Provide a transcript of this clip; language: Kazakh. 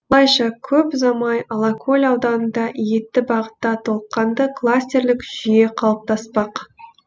осылайша көп ұзамай алакөл ауданында етті бағытта толыққанды кластерлік жүйе қалыптаспақ